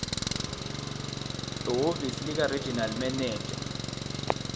ehhovisi likaregional manager